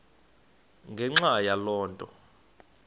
ngenxa yaloo nto